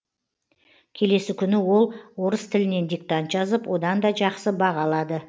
келесі күні ол орыс тілінен диктант жазып одан да жақсы баға алады